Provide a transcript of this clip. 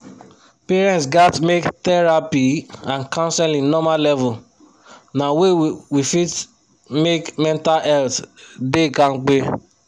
parents gats make therapy and counseling normal level na way we fit make mental health da kampe